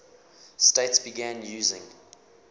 states began using